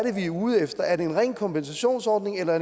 ude efter er det en ren kompensationsordning eller